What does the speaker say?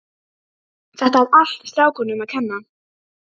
Þetta er allt strákunum að kenna.